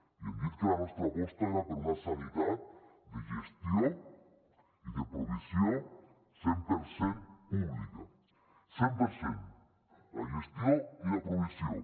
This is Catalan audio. i hem dit que la nostra aposta era per una sanitat de gestió i de provisió cent per cent pública cent per cent la gestió i la provisió